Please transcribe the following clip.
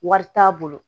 Wari t'a bolo